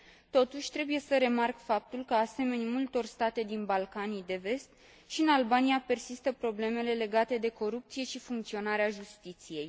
Totuși, trebuie să remarc faptul că, asemeni multor state din Balcanii de Vest, și în Albania persistă problemele legate de corupție și funcționarea justiției.